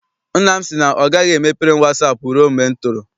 Nna m sị na ọ gaghị emepere m wasaapụ rụe mgbe m toro.